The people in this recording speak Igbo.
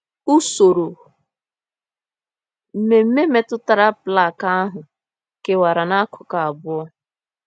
Usoro mmemme metụtara plaka ahụ kewara n’akụkụ abụọ.